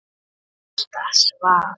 Ásta svaf.